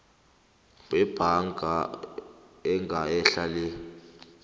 yebhaga engehla le